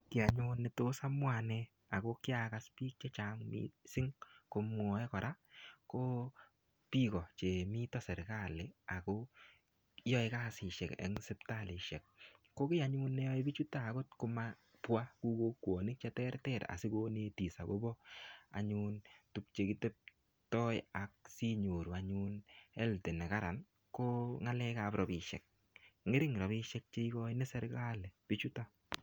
Ki anyun ne tos amwa anne ago kiagas biik che chang mising komwae kora ko biik o chemito sergali ago yae kasisiek eng sipitalisiek. Komi ne anyun ne yoe bichuto anyun agot komabwa ku kokwonik cheterter asigonetis any agobo anyun tuk che kitep toi ak sinyoru anyun health negararan ko ngalekab rapisiek. Ngering rapisiek che igoi sergali bichuton.